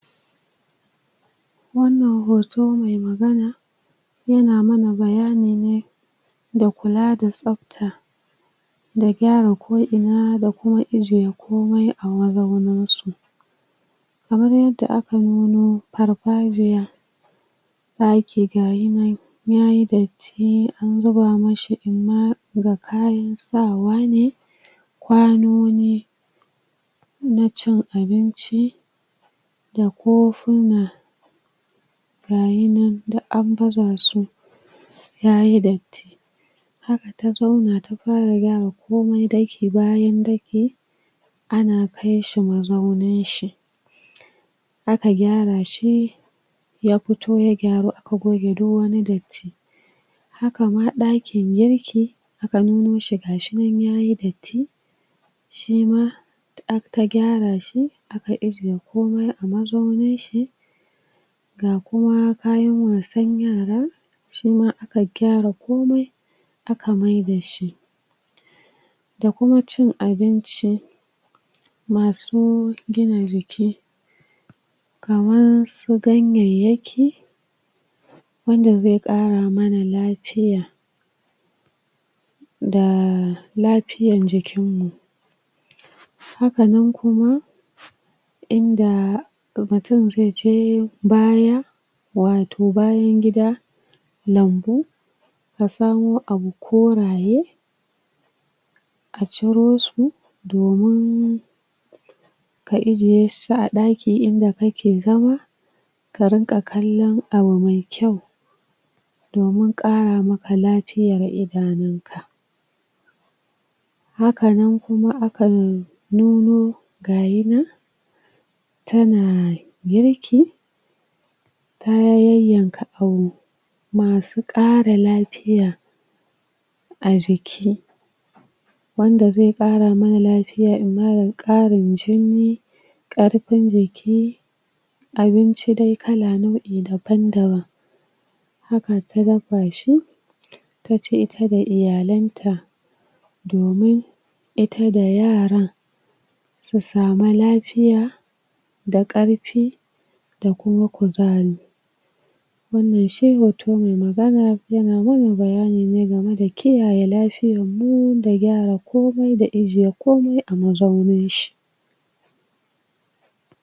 Wannan hotone mai magana yana mana bayanine da kula da tsafta da gyara koina da ko ijiye komai a wurin su a wurin da aka nuno farfariya ɗaki gayinan yayi dati, an zuba mishi da kayan sawa ne kwanoni na cin abinci da kofina gashinan duk an baza su yayi datti haka ta zauna ta fara ware komai dake bayan daki ana kaishi mazaunin shi aka gyara shi ya fito ya gyaru aka goge duk wani datti hakama ɗakin yake aka nunoshi gashinan yayi datti shima aka gyara shi, aka ajiye komai a mazaunin shi ga kuma kayan wasan yara shima aka gyara komai aka miyar dashi da kuma cin abinci masu gina jiki kamar su ganyyayaki wanda zai ƙara mana lafiya da lafiyar jikin mu hakanan kuma inda mutum zaije baya watau bayan gida lambu ya samo abu koraye a ciro su domin ka ajiye su a ɗaki inda kake zama ka dinga kallon abu mai kyau domin ƙara maka lafiya a idanunka hakama kowa akan nuno tana wanki ta wanwanke abu masu ƙara lafiya a jiki wanda zai ƙara mun lafiya da yawan ƙarin jini ƙarfin jiki abinci dai kala nau'in daban-daban haka ta dafa shi ta ci ita da iyalenta domin ita da yaran su samu lafiya da ƙarfi da kuma kuzari wannan shi hotone mai mana bayani game da kiyaye lafiyarmu da gyara komai da ajiye komai a mazaunin shi